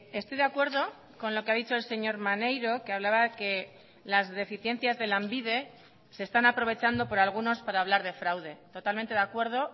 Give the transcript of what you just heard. estoy de acuerdo con lo que ha dicho el señor maneiro que hablaba que las deficiencias de lanbide se están aprovechando por algunos para hablar de fraude totalmente de acuerdo